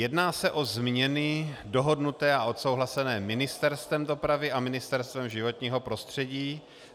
Jedná se o změny dohodnuté a odsouhlasené Ministerstvem dopravy a Ministerstvem životního prostředí.